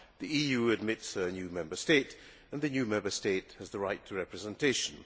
The EU admits a new Member State and the new Member State has the right to representation.